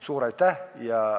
Suur aitäh!